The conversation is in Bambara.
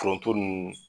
Foronto ninnu